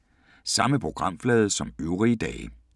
Samme programflade som øvrige dage